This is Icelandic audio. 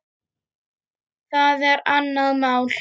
Það er annað mál.